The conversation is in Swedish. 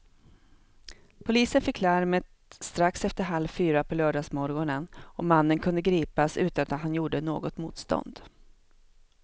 Polisen fick larmet strax efter halv fyra på lördagsmorgonen och mannen kunde gripas utan att han gjorde något motstånd.